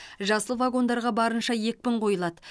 жасыл вагондарға барынша екпін қойылады